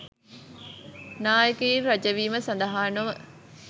නායකයින් ර‍ජවීම සඳහා නොව